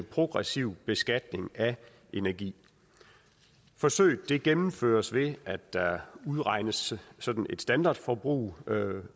progressiv beskatning af energi forsøget gennemføres ved at der udregnes et standardforbrug